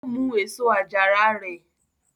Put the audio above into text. Ó mú èso àjàrà rẹ?